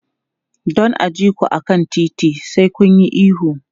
Don a ji ku a kan titi, sai kun yi ihu.